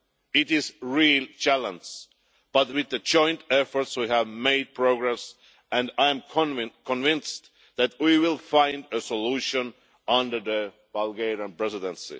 It is a real challenge, but with a joint effort we have made progress and I am convinced that we will find a solution under the Bulgarian Presidency.